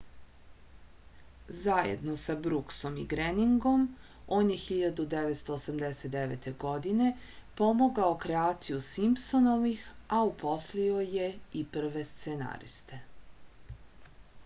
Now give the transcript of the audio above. zajedno sa bruksom i greningom on je 1989. godine pomogao kreaciju simpsonovih a uposlio je i prve scenariste